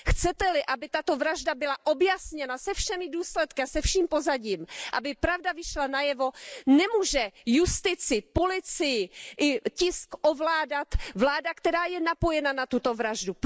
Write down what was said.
Chcete li, aby toto vražda byla objasněna se všemi důsledky a se vším pozadím, aby pravda vyšla najevo, nemůže justici, policii i tisk ovládat vláda, která je napojena na tuto vraždu.